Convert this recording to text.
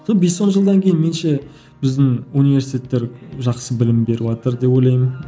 сол бес он жылдан кейін меніңше біздің университеттер жақсы білім беріватыр деп ойлаймын